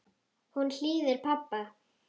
Hún hlýðir pabba.